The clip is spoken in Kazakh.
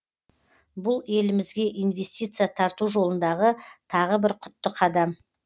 бұл елімізге инвестиция тарту жолындағы тағы да бір құтты қадам